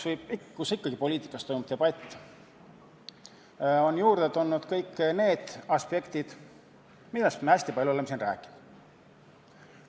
Ikkagi poliitikas toimub debatt ja juurde on siia tulnud kõik need aspektid, millest me hästi palju oleme rääkinud.